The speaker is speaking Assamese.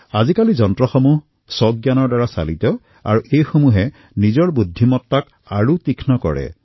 আজিকালি যন্ত্ৰসমূহে স্বশিক্ষণ পদ্ধতিৰে নিজৰ বুদ্ধিমতাক আৰু অধিক উত্তৰণ কৰে